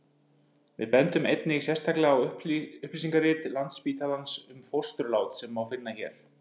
við bendum einnig sérstaklega á upplýsingarit landsspítalans um fósturlát sem má finna hér